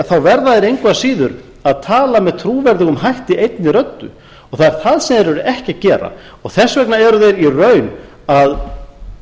verða þeir engu að síður að tala með trúverðugum hætti einni röddu það er það sem þeir eru ekki að gera þess vegna eru þeir í raun að